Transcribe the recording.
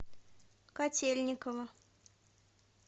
котельниково